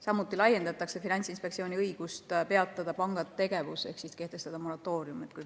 Samuti laiendatakse Finantsinspektsiooni õigust peatada panga tegevus ehk kehtestada moratoorium.